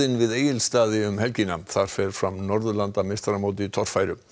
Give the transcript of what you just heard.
við Egilsstaði um helgina þar fer fram Norðurlandameistaramót í torfæru